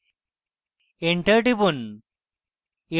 enter টিপুন